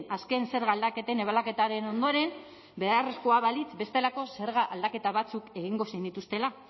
azken zerga aldaketen ebaluaketaren ondoren beharrezkoa balitz bestelako zerga aldaketa batzuk egingo zenituztela